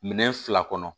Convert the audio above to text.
Minɛn fila kɔnɔ